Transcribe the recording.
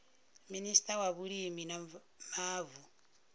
minista wa vhulimi na mavu